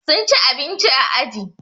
Sun ci abinci a aji